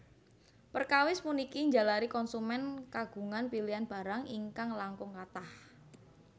Perkawis puniki njalari konsumen kagungan pilihan barang ingkang langkung kathah